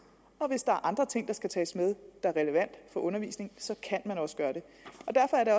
og hvis der er andre ting der skal tages med og er relevante for undervisningen så kan man også gøre det